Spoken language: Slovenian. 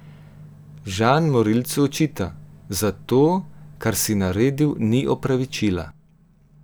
Žan morilcu očita: "Za to, kar si naredil, ni opravičila.